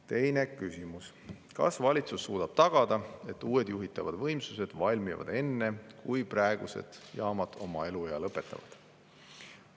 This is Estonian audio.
Teine küsimus: "Kas valitsus suudab tagada, et uued juhitavad võimsused valmivad enne, kui praegused jaamad oma eluea lõpetavad?